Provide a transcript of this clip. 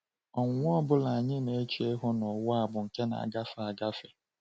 Ọnwụnwa ọ bụla anyị na-eche ihu n’ụwa a bụ nke na-agafe agafe.